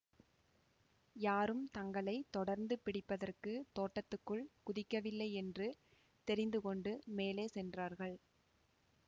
யாரும் தங்களை தொடர்ந்து பிடிப்பதற்குத் தோட்டத்துக்குள் குதிக்கவில்லை என்று தெரிந்துகொண்டு மேலே சென்றார்கள்